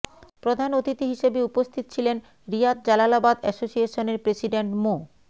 প্রধান অতিথি হিসেবে উপস্থিত ছিলেন রিয়াদ জালালাবাদ অ্যাসোসিয়েশনের প্রেসিডেন্ট মো